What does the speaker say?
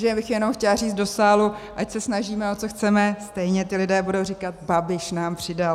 Takže já bych jenom chtěla říct do sálu, ať se snažíme, o co chceme, stejně ti lidé budou říkat: Babiš nám přidal.